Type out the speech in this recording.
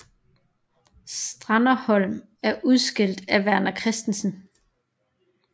Stranderholm er udskilt af Verner Christensen